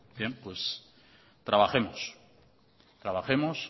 bien pues trabajemos trabajemos